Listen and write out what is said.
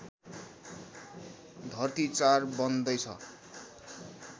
धर्ती ४ बन्दैछ